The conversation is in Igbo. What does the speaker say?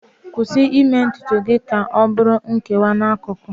Kwụsị ime ntutu gị ka ọ bụrụ nkewa n'akụkụ